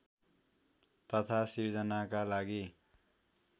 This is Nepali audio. तथा सिर्जनाका लागि